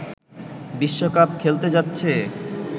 বিশ্বকাপ খেলতে যাচ্ছে